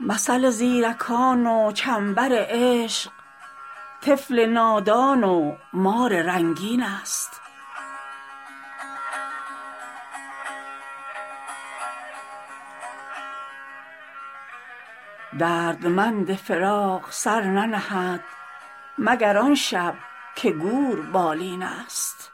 مثل زیرکان و چنبر عشق طفل نادان و مار رنگین ست دردمند فراق سر ننهد مگر آن شب که گور بالین ست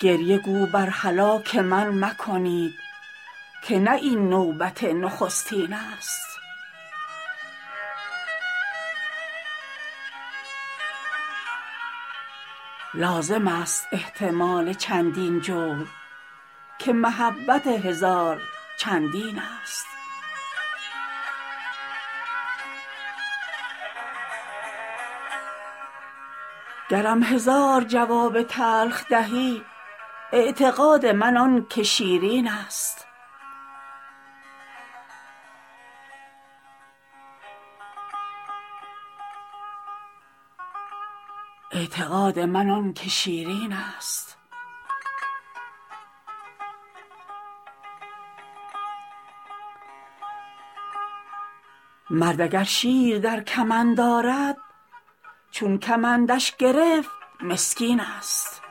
گریه گو بر هلاک من مکنید که نه این نوبت نخستین ست لازم است احتمال چندین جور که محبت هزار چندین ست گر هزارم جواب تلخ دهی اعتقاد من آن که شیرین ست مرد اگر شیر در کمند آرد چون کمندش گرفت مسکین ست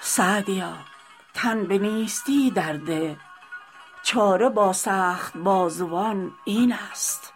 سعدیا تن به نیستی در ده چاره با سخت بازوان این ست